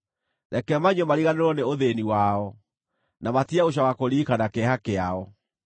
reke manyue mariganĩrwo nĩ ũthĩĩni wao, na matige gũcooka kũririkana kĩeha kĩao.